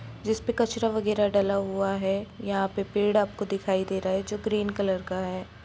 जिस पे कचरा वैराग डला हुआ है यहां पे पेड़ आपको दिखाई दे रहा है जो ग्रीन कलर का है।